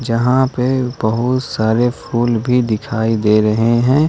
जहां पे बहुत सारे फूल भी दिखाई दे रहे हैं।